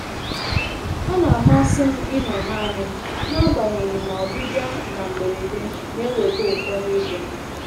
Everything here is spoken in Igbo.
Ọ na-amasị m ịnọ naanị m, n'agbanyeghị na ọbịbịa na mberede na-eweta ụfọdụ ịdịmma